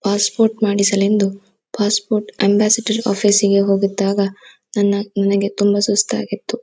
Pass port ಮಾಡಿಸಲೆಂದು passport ambassador office ಇಗೆ ಹೋಗಿದ್ದಾಗ ನನ್ನ ನನಿಗೆ ತುಂಬಾ ಸುಸ್ತು ಆಗಿತ್ತು.